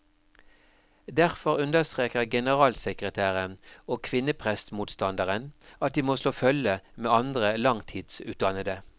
Derfor understreker generalsekretæren og kvinneprestmotstanderen at de må slå følge med andre langtidsutdannede.